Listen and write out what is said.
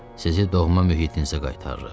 Sizi doğma mühitinizə qaytarırıq.